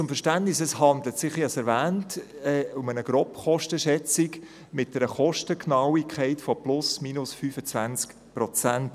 Zum Verständnis: Es handelt sich, wie ich erwähnt habe, um eine Grobkostenschätzung mit einer Kostengenauigkeit von plus/minus 25–30 Prozent.